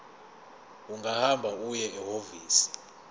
ungahamba uye ehhovisi